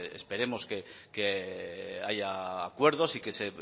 decir esperemos que haya acuerdos y que se